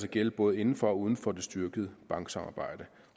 gælde både inden for og uden for det styrkede banksamarbejde